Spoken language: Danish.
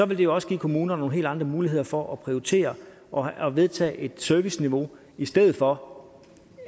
vil det jo også give kommunerne nogle helt andre muligheder for at prioritere og vedtage et serviceniveau i stedet for